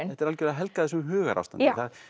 þetta er algjörlega helgað þessu hugarástandi